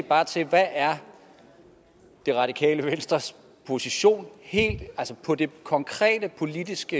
bare til hvad er det radikale venstres position helt konkret politisk